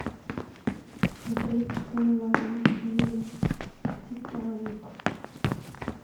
смотреть онлайн фильм титаник